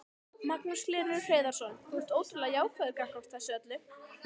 Magnús Hlynur Hreiðarsson: Þú ert ótrúlega jákvæður gagnvart þessu öllu?